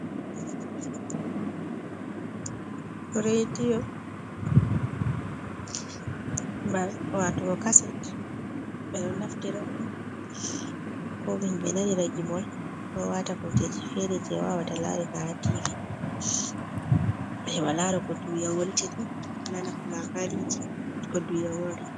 Rediyo ba watugo kaset ɓe ɗon naftira ɗum ko himbe nanira gimol ko wata kujeji fere je wawata larira ha tv, heɓa lara ko duniya wontiri nana ko labariji ko duniya wontiri.